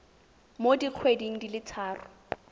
mo dikgweding di le tharo